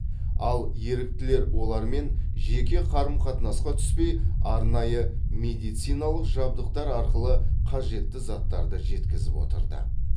ал еріктілер олармен жеке қарым қатынасқа түспей арнайы медициналық жабдықтар арқылы қажетті заттарды жеткізіп отырды